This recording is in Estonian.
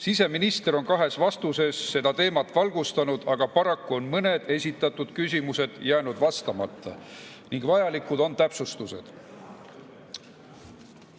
Siseminister on kahes vastuses seda teemat valgustanud, aga paraku on mõned esitatud küsimused jäänud vastamata ning vajalikud on täpsustused.